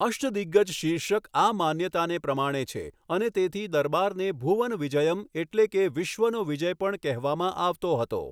અષ્ટદિગ્ગજ શીર્ષક આ માન્યતાને પ્રમાણે છે અને તેથી દરબારને ભુવન વિજયમ એટલે કે વિશ્વનો વિજય પણ કહેવામાં આવતો હતો.